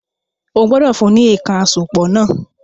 O gbọ́dọ̀ fún ní “èèkàn àsopọ̀” náà